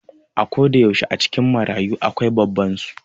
A koda yaushe a cikin marayu akwai babban su